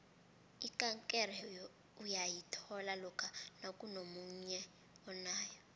ikankere uyayithola lokha nakunomunye onayo